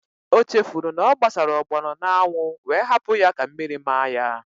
O chefuru na ọ gbasara ọgbọnọ n'anwụ wee hapụ ya ka mmiri maa ya